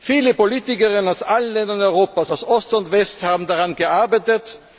Viele Politiker aus allen Ländern Europas, aus Ost und West, haben daran gearbeitet.